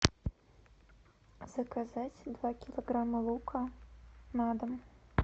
заказать два килограмма лука на дом